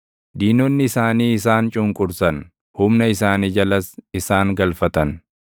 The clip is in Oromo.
Diinonni isaanii isaan cunqursan; humna isaanii jalas isaan galfatan.